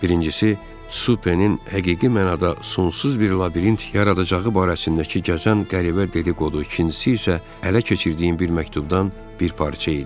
Birincisi, Supenin həqiqi mənada sonsuz bir labirint yaradacağı barəsindəki gəzən qəribə dedi-qodu, ikincisi isə ələ keçirdiyim bir məktubdan bir parça idi.